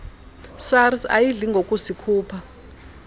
sars ayidli ngokusikhupha